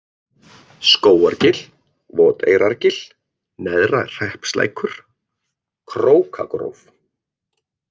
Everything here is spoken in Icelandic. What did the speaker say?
Skógargil, Voteyrargil, Neðra-Hreppslækur, Krókagróf